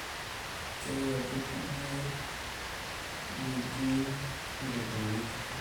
Keyutu kulie guguin nkukunik torok